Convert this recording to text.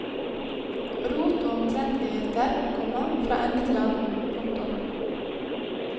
Rot og omtrentligheter, komma fra ende til annen. punktum